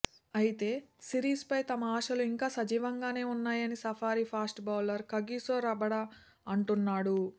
అయితే సిరీస్పై తమ ఆశలు ఇంకా సజీవంగానే ఉన్నాయని safari fast bowler Kagiso Rabada అంటున్నాడు